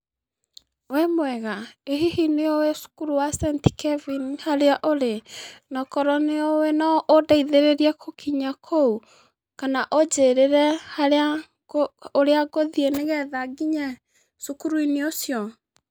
Wĩ mwega, ĩ hihi nĩũĩ cukuru wa St, Kevin harĩa ũrĩ, na korwo nĩũĩ noũndeithĩrĩrie kũkinya kũu, kana ũnjĩrĩre harĩa kũ ũrĩa ngũthiĩ nĩgetha nginye cukuru-inĩ ũcio.